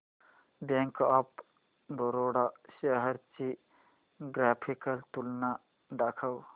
bank of Baroda shares ची graphical तुलना दाखव